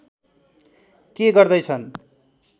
के गर्दै छन्